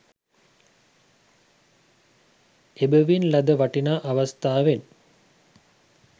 එබැවින් ලද වටිනා අවස්ථාවෙන්